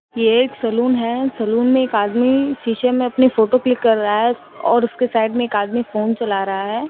ये एक सैलून है सैलून में एक आदमी शीशे में अपनी फोटो क्लिक कर रहा है और उसके साइड में एक आदमी फोन चला रहा है।